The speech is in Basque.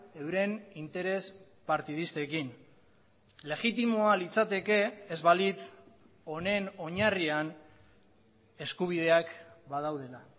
euren interes partidistekin legitimoa litzateke ez balitz honen oinarrian eskubideak badaudela